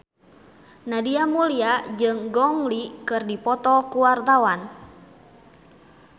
Nadia Mulya jeung Gong Li keur dipoto ku wartawan